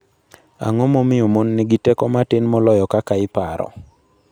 Ang'o momiyo mon nigi teko matin moloyo kakaiparo?